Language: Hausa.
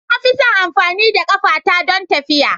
Na fi son amfani da ƙafata don tafiya.